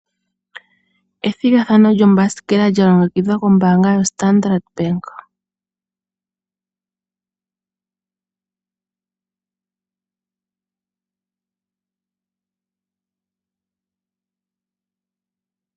Ethigathano lyombasikela lya longekidhwa kombaanga yoStandard Bank.